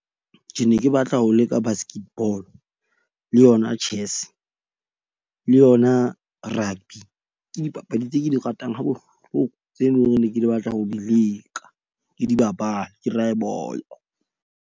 Ke ne ke batla ho leka basket ball le yona chess le yona rugby. Ke dipapadi tse ke di ratang ha bohloko tseno hore ne ke batla ho di leka, ke di bapale. Ke raye bolo.